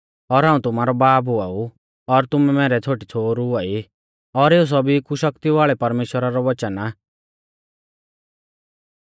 और हाऊं तुमारौ बाब हुआ ऊ और तुमै मैरै छ़ोटी और छ़ोहरु हुआई और एऊ सौभी कु शक्ति वाल़ै परमेश्‍वरा रौ वचन आ